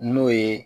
N'o ye